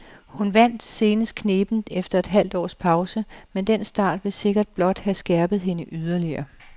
Hun vandt senest knebent efter et halvt års pause, men den start vil sikkert blot have skærpet hende yderligere.